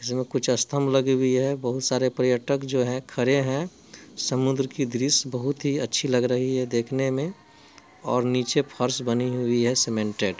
इसमें कुछ अस्तम्भ लगी हुई है बहुत सारे पर्यटक जो हैं खरे हैं समुन्द्र की दृश्य बोहोत ही अच्छी लग रही है देखने में और निचे फर्श बनी हुई है सीमेंटड ।